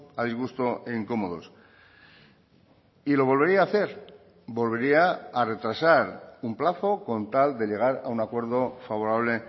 a disgusto e incomodos y lo volvería a hacer volvería a retrasar un plazo con tal de llegar a un acuerdo favorable